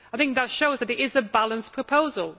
That shows this is a balanced proposal.